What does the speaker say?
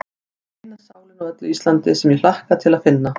Þú ert eina sálin á öllu Íslandi, sem ég hlakka til að finna.